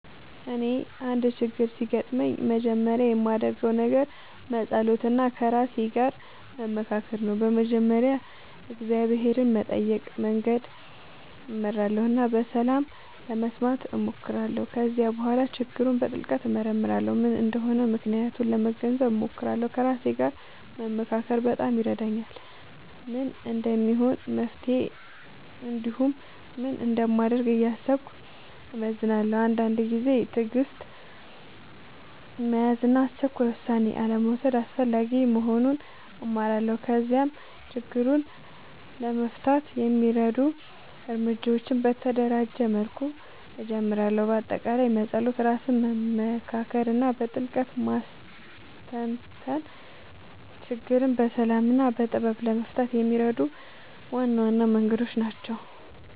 እኔ አንድ ችግር ሲያጋጥምኝ መጀመሪያ የማደርገው ነገር መጸሎት እና ከራሴ ጋር መመካከር ነው። በመጀመሪያ እግዚአብሔርን በመጠየቅ መንገድ እመራለሁ እና ሰላም ለመስማት እሞክራለሁ። ከዚያ በኋላ ችግሩን በጥልቅ እመርመራለሁ፤ ምን እንደሆነ ምክንያቱን ለመገንዘብ እሞክራለሁ። ከራሴ ጋር መመካከር በጣም ይረዳኛል፤ ምን እንደሚሆን መፍትሄ እንዲሁም ምን እንደማደርግ እያሰብኩ እመዝናለሁ። አንዳንድ ጊዜ ትዕግሥት መያዝ እና አስቸኳይ ውሳኔ አልመውሰድ አስፈላጊ መሆኑን እማራለሁ። ከዚያም ችግሩን ለመፍታት የሚረዱ እርምጃዎችን በተደራጀ መልኩ እጀምራለሁ። በአጠቃላይ መጸሎት፣ ራስን መመካከር እና በጥልቅ ማስተንተን ችግርን በሰላም እና በጥበብ ለመፍታት የሚረዱ ዋና ዋና መንገዶች ናቸው።